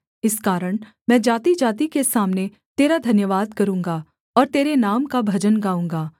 इस कारण मैं जातिजाति के सामने तेरा धन्यवाद करूँगा और तेरे नाम का भजन गाऊँगा